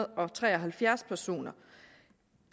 og treoghalvfjerds personer